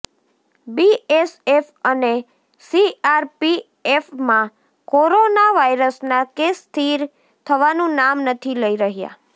BSF અને સીઆરપીએફમાં corona વાયરસના કેસ સ્થિર થવાનું નામ નથી લઈ રહ્યા